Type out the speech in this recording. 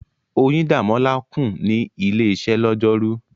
Oyindamola kùn ní ilé-iṣẹ́ lọ́jọ́rú.